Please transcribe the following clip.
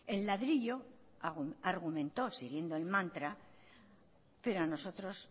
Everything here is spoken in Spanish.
el ladrillo argumentó siguiendo el mantra pero a nosotros